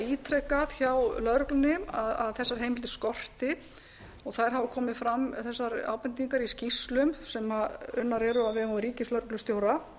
ítrekað hjá lögreglunni að þessar heimildir skorti þær hafa komið fram þessar ábendingar í skýrslum sem unnar eru á vegum ríkislögreglustjóra